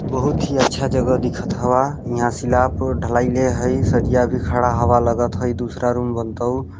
बहुत ही अच्छा जगह दिखत हवा इहा सिला पुर ढ़लाईले हई सरिया भी खड़ा हवा लगत ह इ दूसरा रूम बंतउ--